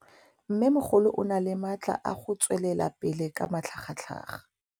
Mmêmogolo o na le matla a go tswelela pele ka matlhagatlhaga.